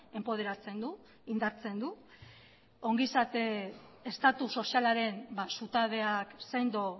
enpoderatzen du indartzen du ongizate estatu sozialaren zutabeak sendo